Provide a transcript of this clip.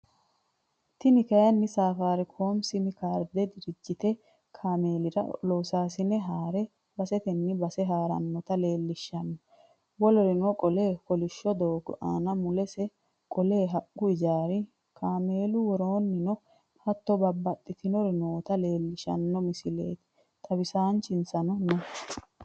Tinni kayinni safaricom simcardete dirijitye kaamelirra lossassine haare baasetenni baase harranotta leelishanno wolirino qoole koolisho doogo anna, mullesi qoole haaqu ,ijaari kaamellu wolirrino haato baabaxinorro nootta leelishanno missilleti. Xawissanchisano no.